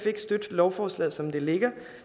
ikke støtte lovforslaget som det ligger